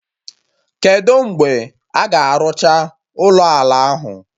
Kedụ mgbe a ga-arụcha ụlọ ala ahụ?